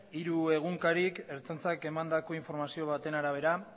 hiru egunkarik ertzaintzak emandako informazio baten arabera